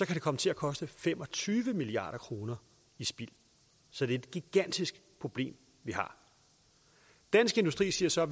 det komme til at koste fem og tyve milliard kroner i spild så det er et gigantisk problem vi har dansk industri siger så